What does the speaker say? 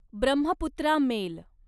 Brahmaputra mail